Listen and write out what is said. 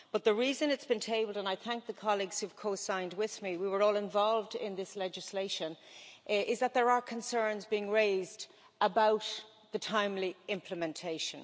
But the reason it has been tabled and I thank the colleagues who have co signed with me, we were all involved in this legislation is that concerns are being raised about the timely implementation.